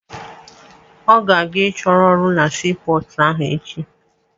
Ọ ga-aga ịchọ ọrụ na sii pọọtụ ahụ echi.